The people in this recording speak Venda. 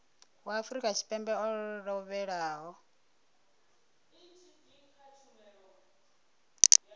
wa afrika tshipembe o lovhelaho